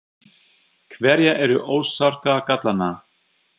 Hverjar eru orsakar gallanna?